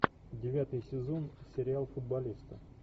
девятый сезон сериал футболисты